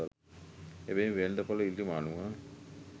එබැවින් වෙළෙඳ‍පොළ ඉල්ලුම අනුව